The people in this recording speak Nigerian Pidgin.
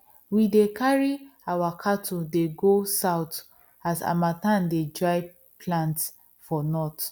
we dey carry our cattle dey go south as harmattan dey dry plants for north